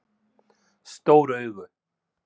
Stór augu